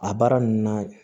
A baara ninnu na